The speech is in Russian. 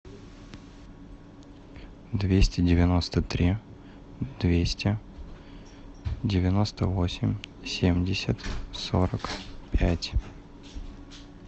двести девяносто три двести девяносто восемь семьдесят сорок пять